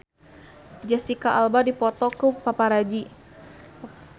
Jesicca Alba dipoto ku paparazi